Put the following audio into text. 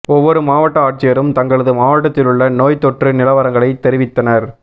ஒவ்வொரு மாவட்ட ஆட்சியரும் தங்களது மாவட்டத்திலுள்ள நோய்த் தொற்று நிலவரங்களைத் தெரிவித்தனா்